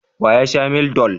Wa ya sha Mildol?